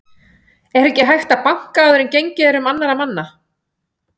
ER EKKI HÆGT AÐ BANKA ÁÐUR EN GENGIÐ ER UM ANNARRA MANNA